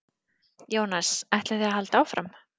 Jónas: Ætlið þið að halda áfram?